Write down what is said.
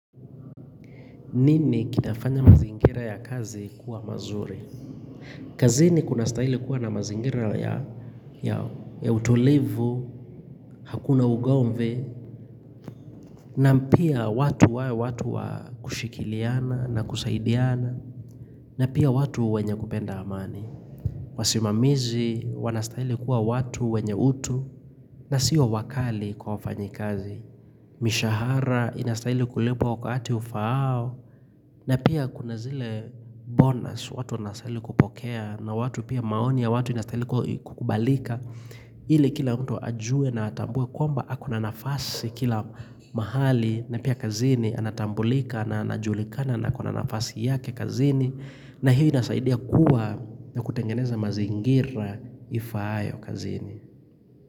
Nini kitafanya mazingira ya kazi kuwa mazuri? Kazini kunastahili kuwa na mazingira ya utulivu, hakuna ugomvi, Nam pia watu wae watu wa kushikiliana na kusaidiana, na pia watu wenye kupenda amani. Wasimamizi, wanastahili kuwa watu wenye utu, na siyo wakali kwa wafanyikazi. Mishahara, inastahili kulipwa wakati ufaao, na pia kuna zile bonus watu wanasaili kupokea na watu pia maoni ya watu inastahili kukubalika ili kila mtu ajue na atambue kwamba ako na nafasi kila mahali na pia kazini anatambulika na anajulikana na ako na nafasi yake kazini na hiyo inasaidia kuwa na kutengeneza mazingira ifaayo kazini.